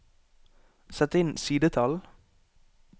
Sett inn sidetall